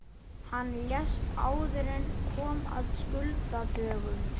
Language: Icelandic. Hann lést áður en kom að skuldadögunum.